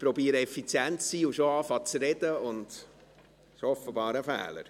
Ich versuche effizient zu sein und schon mit Sprechen zu beginnen – das ist offenbar ein Fehler.